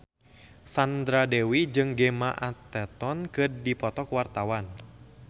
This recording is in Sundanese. Sandra Dewi jeung Gemma Arterton keur dipoto ku wartawan